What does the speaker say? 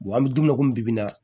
an bɛ don min na komi bi bi in na